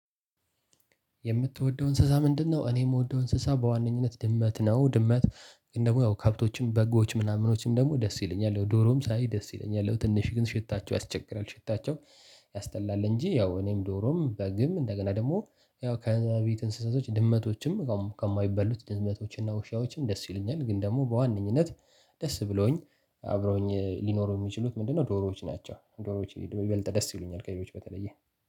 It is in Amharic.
የምትወደው እንስሳ ምንድነው? እኔ የምወደው እንስሳ በዋነኝነት ድመት ነው። ድመት ግን ደግሞ ያው ከብቶችም በጎዎችም ምናምኖችም ደስ ይለኛል ያው ዶሮም ሳይ ደስ ይለኛል። ያው ትንሽ ግን ሽታቸው ያስቸግራል ሽታቸው ያስጠላል። እንጂ ያው እኔም ዶሮም በግም እንደገና ደግሞ ያው ከቤት እንስሳቶች ድመቶችም ከማይበሉት ድመቶችና ውሻዎችም ደስ ይሉኛል። ግን ደግሞ በዋነኝነት ደስ ብሎኝ አብረውኝ ሊኖሩ የሚችሉት ምንድነው? ዶሮዎች ናቸው። ዶሮዎች ይበልጥ ደስ ይሉኛል ከሌሎች በተለየ